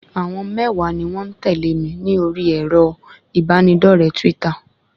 Àwọn mẹ́wàá ni wọ́n ń tẹ̀lé mi ní orí èrò ìbánidọ́rẹ̀ẹ́ twítà